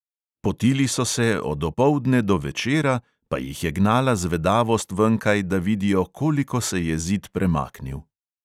Potili so se od opoldne do večera, pa jih je gnala zvedavost venkaj, da vidijo, koliko se je zid premaknil.